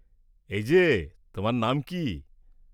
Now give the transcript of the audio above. -এই যে, তোমার নাম কী?